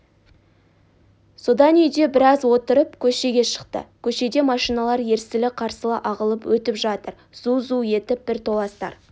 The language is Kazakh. содан үйде біраз отырып көшеге шықты көшеде машиналар ерсілі-қарсылы ағылып өтіп жатыр зу-зу етіп бір толастар